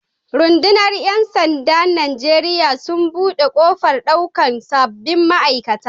Rudunar Yan sanda'n Nijeriya sun bude kofar daukan sabobin ma'aikata.